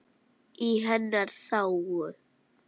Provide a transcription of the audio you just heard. Í hennar þágu.